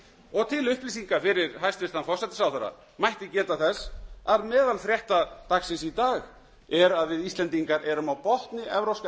og til upplýsingar fyrir hæstvirtan forsætisráðherra mætti geta þess að meðal frétta dagsins í dag er að við íslendingar erum á botni evrópska